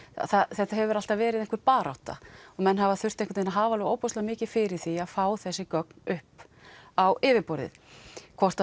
þetta hefur alltaf verið einhver barátta menn hafa þurft að hafa ofboðslega mikið fyrir því að fá þessi gögn upp á yfirborðið hvort